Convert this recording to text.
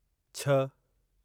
छह